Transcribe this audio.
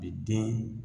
Bi den